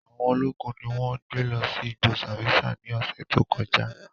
Awọn ologun ni wọn gbe lọ si igbo Sambisa ni ọsẹ to kọja.